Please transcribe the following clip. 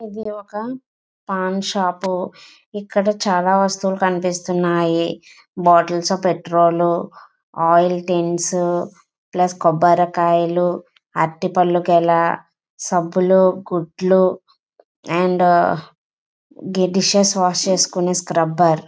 ఇది ఒక పాన్ షాప్ ఇక్కడ చాలా వస్తువులు కనిపిస్తున్నాయి bottles petrol oil tins plus కొబ్బరి కాయలు ఆరటి పండు గెల సబ్బులు గుడ్లు అండ్ డిషెస్ వాష్ చేసుకునే స్క్రబ్ర్ .